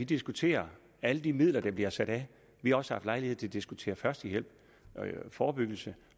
diskutere alle de midler der bliver sat af vi har også haft lejlighed til at diskutere førstehjælp og forebyggelse